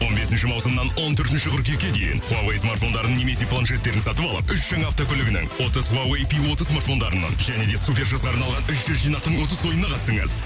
он бесінші маусымнан он төртінші қыркүйекке дейін хуавей смартфондарын немесе планшеттерін сатып алып үш жаңа автокөлігінің отыз хуавей пи отыз смартфондарының және де супер жазға арналған үш жүз жинақтың ұтыс ойынына қатысыңыз